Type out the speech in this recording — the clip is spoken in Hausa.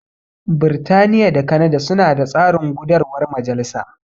Birtaniya da Kanada suna da tsarin gudarwar majalisa.